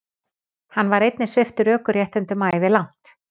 Hann var einnig sviptur ökuréttindum ævilangt